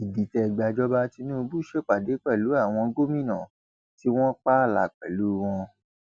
ìdìtẹgbàjọba tìnùbù ṣèpàdé pẹlú àwọn gómìnà tó wọn pààlà pẹlú wọn